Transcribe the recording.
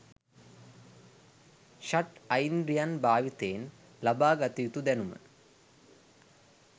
ෂඬ් ඓද්‍රියන් භාවිතයෙන් ලබා ගත යුතු දැනුම